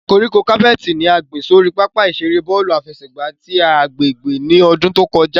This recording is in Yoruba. Koríko capeti ni a gbin sori papa-iṣere bọọlu afẹsẹgba ti agbegbe ni ọdun to kọja.